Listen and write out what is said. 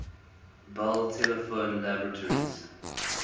bell telephone laboratories